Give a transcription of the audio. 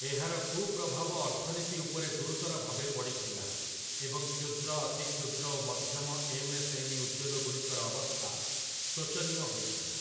ଏହାର କୁପ୍ରଭାବ ଅର୍ଥନୀତି ଉପରେ ଗୁୁରୁତର ଭାବେ ପଡ଼ିଥିଲା, ଏବଂ କ୍ଷୁଦ୍ର, ଅତି କ୍ଷୁଦ୍ର ଓ ମଧ୍ୟମ ଏମ୍‌.ଏସ୍‌.ଏମ୍‌.ଇ. ଉଦ୍ୟୋଗଗୁଡ଼ିକର ଅବସ୍ଥା ଶୋଚନୀୟ ହୋଇଥିଲା ।